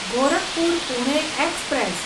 Gorakhpur Pune express